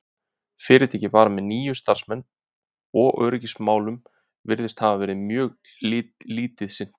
fyrirtækið var með níu starfsmenn og öryggismálum virðist hafa verið mjög lítið sinnt